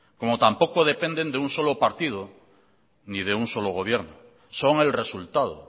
como tampoco dependen de un solo partido ni de un solo gobierno son el resultado